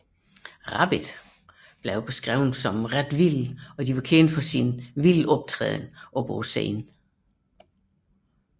Rabbit blev beskrevet som vilde og var kendt for sin hedonistiske optræden på scenen